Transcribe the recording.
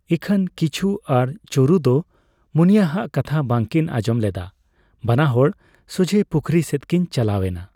ᱤᱠᱷᱟᱹᱱ ᱠᱤᱪᱩ ᱟᱨ ᱪᱳᱨᱩ ᱫᱚ ᱢᱩᱱᱤᱭᱟ ᱦᱟᱜ ᱠᱟᱛᱷᱟ ᱵᱟᱝ ᱠᱤᱱ ᱟᱸᱡᱚᱢ ᱞᱮᱫᱼᱟ ᱾ᱵᱟᱱᱟ ᱦᱚᱲ ᱥᱚᱡᱷᱮ ᱯᱩᱠᱷᱨᱤ ᱥᱮᱫ ᱠᱤᱱ ᱪᱟᱞᱟᱣ ᱮᱱᱟ ᱾